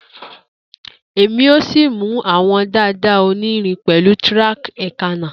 Emi o si mu awọn dada onirin pẹlu tack eekanna.